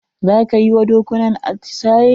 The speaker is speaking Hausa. Za ka yi wa dokunan atisaye?